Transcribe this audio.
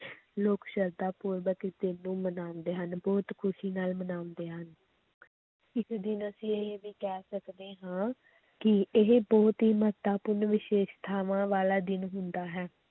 ਲੋਕ ਸਰਧਾ ਪੂਰਵਕ ਮਨਾਉਂਦੇ ਹਨ, ਬਹੁਤ ਖ਼ੁਸ਼ੀ ਨਾਲ ਮਨਾਉਂਦੇ ਹਨ ਇਸ ਦਿਨ ਅਸੀਂ ਇਹ ਵੀ ਕਹਿ ਸਕਦੇ ਹਾਂ ਕਿ ਇਹ ਬਹੁਤ ਹੀ ਮਹੱਤਵਪੂਰਨ ਵਿਸ਼ੈਸ਼ਤਾਵਾਂ ਵਾਲਾ ਦਿਨ ਹੁੰਦਾ ਹੈ